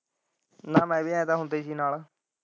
ਨਾਂ ਮੈਂ ਵੀ ਇਹਦਾ ਹੁੰਦਾ ਸੀ ਨਾਲ।